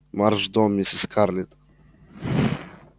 марш в дом мисс скарлетт